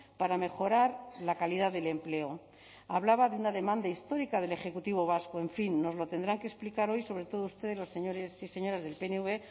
para mejorar la calidad del empleo hablaba de una demanda histórica del ejecutivo vasco en fin nos lo tendrán que explicar hoy sobre todo ustedes los señores y señoras del pnv